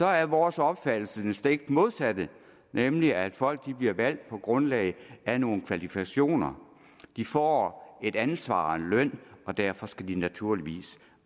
er vores opfattelse den stik modsatte nemlig at folk bliver valgt på grundlag af nogle kvalifikationer de får et ansvar og en bestemt løn og derfor skal de naturligvis